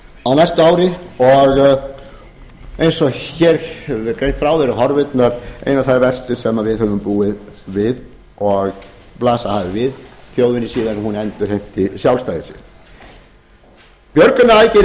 á næsta ári og eins og hér hefur verið greint frá eru horfurnar einar þær verstu sem við höfum búið við og blasað hafa við þjóðinni síðan hún endurheimti sjálfstæði sitt björgunaraðgerðir